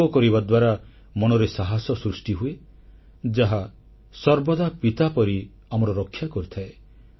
ଯୋଗ କରିବା ଦ୍ୱାରା ମନରେ ସାହସ ସୃଷ୍ଟି ହୁଏ ଯାହା ସର୍ବଦା ପିତା ପରି ଆମର ରକ୍ଷା କରିଥାଏ